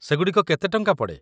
ସେଗୁଡ଼ିକ କେତେ ଟଙ୍କା ପଡ଼େ ?